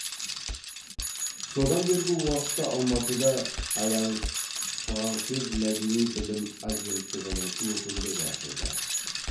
содан бергі уақытта алматыда альяңс фғаңсез мәдени білім агенттігінің өкілдігі ашылды